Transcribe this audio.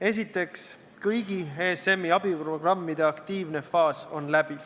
Esiteks, kõigi ESM-i abiprogrammide aktiivne faas on läbi.